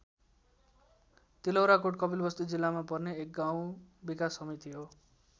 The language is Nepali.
तिलौराकोट कपिलवस्तु जिल्लामा पर्ने एक गाउँ विकास समिति हो।